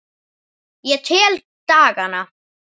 Ég tel dagana.